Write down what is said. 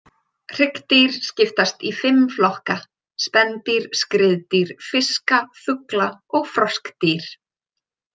Hryggdýr skiptast í fimm flokka, spendýr, skriðdýr, fiska, fugla og froskdýr.